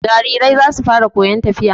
Jarirai za su fara koyon tafiya.